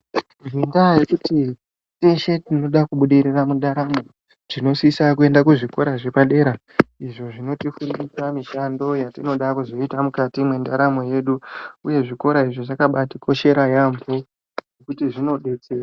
Ngendaa yekuti teshe tinoda kubudirira mundaramo tinosisa kuenda ku zvikora zvepadera izvo zvinoti fundisa mishando yatinoda kuzoita mukati mwe ndaramo yedu uye zvikora izvi zvakabaiti koshera yambo ngekuti zvino detsera.